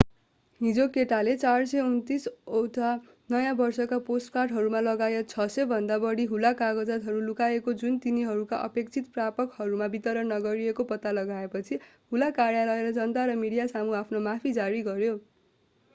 हिजो केटाले 429 ओटा नयाँ वर्षका पोस्टकार्टहरू लगायत 600 भन्दा बढी हुलाक कागजातहरू लुकाएको जुन तिनीहरूका अपेक्षित प्रापकहरूमा वितरण नगरिएको पत्ता लगाएपछि हुलाक कार्यालयले जनता र मिडियासामु आफ्नो माफी जारी गर्‍यो।